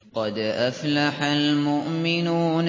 قَدْ أَفْلَحَ الْمُؤْمِنُونَ